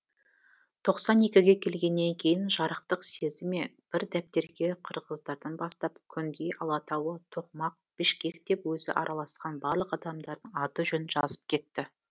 тоқсан екіге келгеннен кейін жарықтық сезді ме бір дәптерге қырғыздардан бастап күнгей алатауы тоқмақ бішкек деп өзі араласқан барлық адамдардың аты жөнін жазып кетті